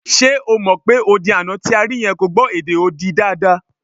Ṣe o mọ̀ pé odi àná tí a rí yẹn kò gbọ́ èdè odi dáadáa?